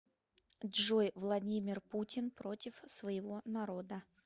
джой владимир путин против своего народа